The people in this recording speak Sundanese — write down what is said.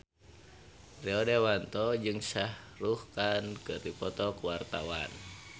Rio Dewanto jeung Shah Rukh Khan keur dipoto ku wartawan